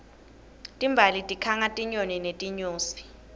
timbali tikhanga tinyoni netinyosi